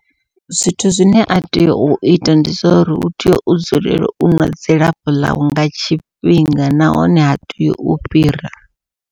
Zwithu zwine a tea u ita ndi zwa uri u tea u dzulela u ṅwa dzilafho ḽawe nga tshifhinga nahone ha tei u fhira.